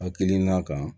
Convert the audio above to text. Hakilina kan